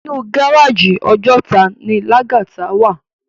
Inú gáráji Òjòtá ni Lagata wá